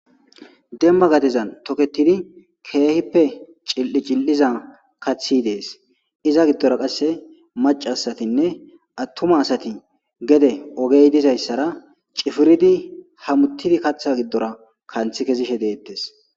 demma gadezan toketidi keehippe cil7i cil7iza kathi dees iza giddora qasse macasatinne attuma asati gede ogey dizayssara cifiridi hamuttidi kaththa giddora kanthi kezishe deettes